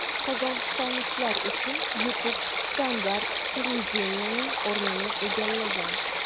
Qozog‘istonliklar uchun YouTube standart televideniyening o‘rnini egallagan.